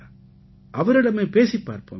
அவரிடமே பேசிப் பார்ப்போமே